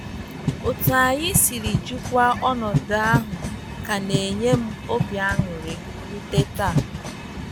Otu anyi siri jikwa ọnọdụ ahụ ka na enyem obi aṅụrị rute taa